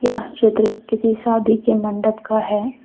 यह चित्र किसी शादी के मंडप का है।